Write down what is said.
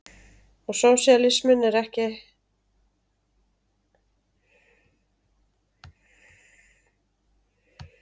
Og sósíalisminn er ekki að eins til á pappírnum.